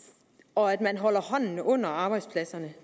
og at man holder hånden under arbejdspladserne